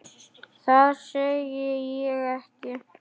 Það segi ég ekki.